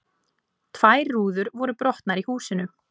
Tvær rúður voru brotnar í húsinu